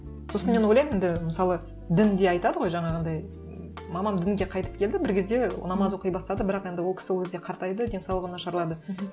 сосын мен ойлаймын енді мысалы дін де айтады ғой жанағындай мамам дінге қайтып келді бір кезде намаз оқи бастады бірақ енді ол кісі ол кезде қартайды денсаулығы нашарлады мхм